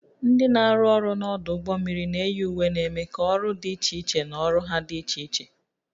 Ndị na-arụ ọrụ n'ọdụ ụgbọ mmiri na-eyi uwe na-eme ka ọrụ dị iche iche na ọrụ ha dị iche iche